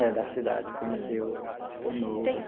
É, da cidade, conhecer o o novo.